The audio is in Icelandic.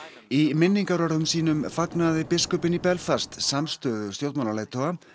í minningarorðum sínum fagnaði biskupinn í Belfast samstöðu stjórnmálaleiðtoga